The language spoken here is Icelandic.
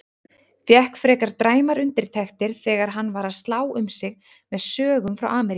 Fékk frekar dræmar undirtektir þegar hann var að slá um sig með sögum frá Ameríku.